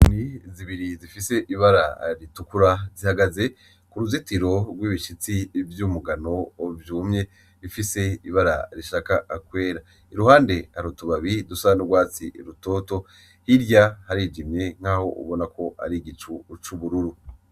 Inyoni zibiri zifise ibara ritukura zihagaze k'uruzitiro rw'ibishitsi vy'umugano vyumye bifise ibara rishika kwera, iruhande hari utubabi dusa n'urwatsi rutoto, hirya harijimye nkaho ubona ko hari igicu c'ubururu.